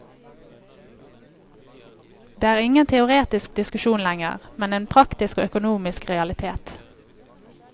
Det er ingen teoretisk diskusjon lenger, men en praktisk og økonomisk realitet.